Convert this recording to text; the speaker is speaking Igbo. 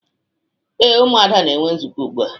Ee, Ụmụada na-enwe nzukọ ugbua.